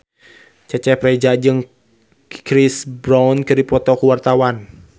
Cecep Reza jeung Chris Brown keur dipoto ku wartawan